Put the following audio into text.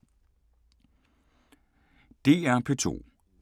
DR P2